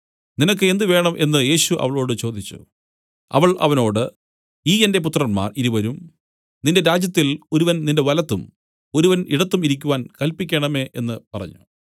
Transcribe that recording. നിനക്ക് എന്ത് വേണം എന്നു യേശു അവളോട് ചോദിച്ചു അവൾ അവനോട് ഈ എന്റെ പുത്രന്മാർ ഇരുവരും നിന്റെ രാജ്യത്തിൽ ഒരുവൻ നിന്റെ വലത്തും ഒരുവൻ ഇടത്തും ഇരിക്കുവാൻ കല്പിക്കണമേ എന്നു പറഞ്ഞു